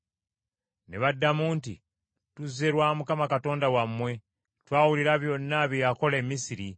Ne baddamu nti, “Tuzze lwa Mukama Katonda wammwe; twawulira byonna bye yakola e Misiri,